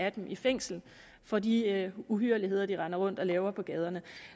af dem i fængsel for de uhyrligheder de render rundt og laver på gaderne